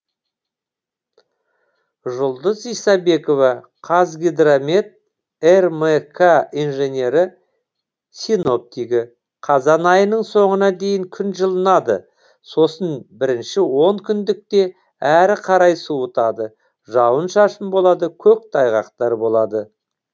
жұлдыз исабекова қазгидромет рмк инженері синоптигі қазан айының соңына дейін күн жылынады сосын бірінші он күндікте әрі қарай суытады жауын шашын болады көк тайғақтар болады